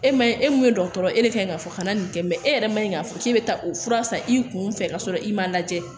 E ma ye e mun ye dɔgɔtɔrɔ e de kan ka fɔ ka na nin kɛ e yɛrɛ man ɲi k'a fɔ k'e bɛ taa o fura san i kun fɛ ka sɔrɔ i man lajɛ